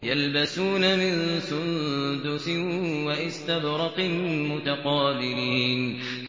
يَلْبَسُونَ مِن سُندُسٍ وَإِسْتَبْرَقٍ مُّتَقَابِلِينَ